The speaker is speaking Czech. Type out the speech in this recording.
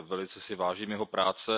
Velice si vážím jeho práce.